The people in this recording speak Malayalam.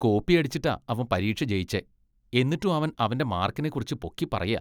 കോപ്പിയിടച്ചിട്ടാ അവൻ പരീക്ഷ ജെയിച്ചെ , എന്നിട്ടും അവൻ അവന്റെ മാർക്കിനെക്കുറിച്ച് പൊക്കിപ്പറയാ .